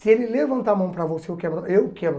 Se ele levantar a mão para você, eu quebro a eu quebro